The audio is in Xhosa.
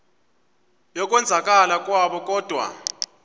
yokwenzakala kwabo kodwa